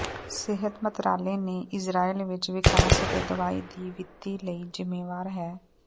ਸਿਹਤ ਮੰਤਰਾਲੇ ਨੇ ਇਸਰਾਏਲ ਵਿੱਚ ਵਿਕਾਸ ਅਤੇ ਦਵਾਈ ਦੀ ਵਿੱਤੀ ਲਈ ਜ਼ਿੰਮੇਵਾਰ ਹੈ